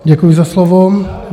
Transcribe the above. Děkuji za slovo.